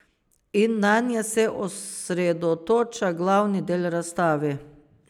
In nanje se osredotoča glavni del razstave.